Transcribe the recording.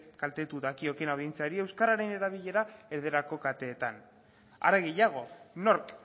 kaltetu dakiokeen audientziari euskararen erabilera erdarako kateetan are gehiago nork